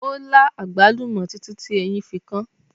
Ó lá àgbálùmọ́ títí tí eyín fi kan án.